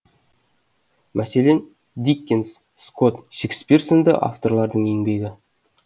мәселен диккенс скот шекспир сынды авторлардың еңбегі